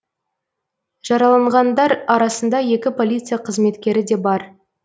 жараланғандар арасында екі полиция қызметкері де бар